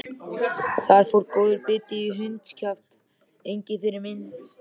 Þar fór góður biti í hundskjaft, Engiferinn minn.